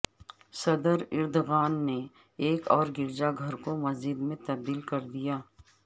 صدر اردوغان نے ایک اور گرجا گھر کو مسجد میں تبدیل کر دیا